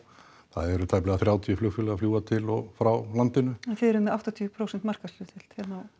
eru tæplega þrjátíu flugfélög að fljúga til og frá landinu en þið eruð með áttatíu prósent markaðshlutdeild